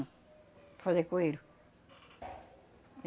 fazer coelho.